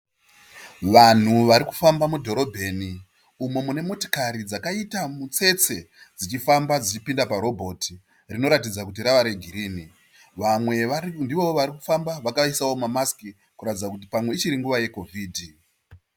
Vanhu varikufamba mudhorobheni umo munemotokari dzakaita mutsetse dzichifamba dzichipinda parobhoti rinoratidza kuti rava regirini. Vamwe ndivo varikufamba vakaisawo mamasiki kuratidza ichiri nguva yeCovid.